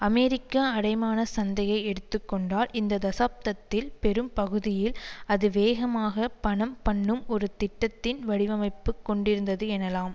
அமெரிக்க அடைமான சந்தையை எடுத்து கொண்டால் இந்த தசாப்தத்தில் பெரும் பகுதியில் அது வேகமாக பணம் பண்ணும் ஒரு திட்டத்தின் வடிவமைப்பு கொண்டிருந்தது எனலாம்